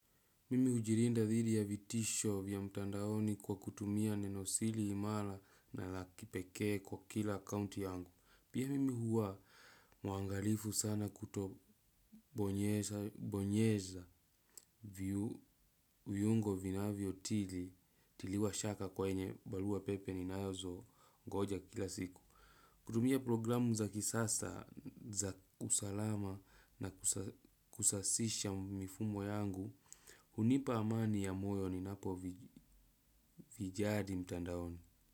Mimi hujilinda dhidi ya vitisho vya mtandaoni kwa kutumia nenosiri imara na la kipekee kwa kila account yangu. Pia mimi huwa mwangalifu sana kutobonyeza viungo vinavyotiliwa shaka kwa yenye barua pepe ninazongoja kila siku. Kutumia programu za kisasa za usalama na kusasisha mifumo yangu hunipa amani ya moyo ninapovijali mtandaoni.